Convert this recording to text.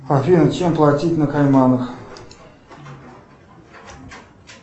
афина чем платить на кайманах